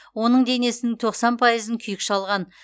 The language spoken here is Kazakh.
оның денесінің тоқсан пайызын күйік шалған